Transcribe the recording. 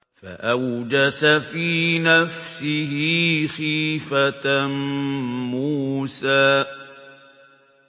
فَأَوْجَسَ فِي نَفْسِهِ خِيفَةً مُّوسَىٰ